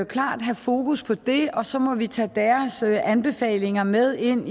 klart have fokus på det og så må vi tage deres anbefalinger med ind